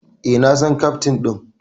Eh, na san Keftin din.